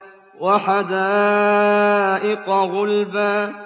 وَحَدَائِقَ غُلْبًا